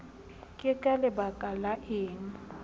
ke ka lebaka la eng